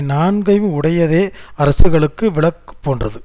நான்கையும் உடையதே அரசுகளுக்கு விளக்கு போன்றது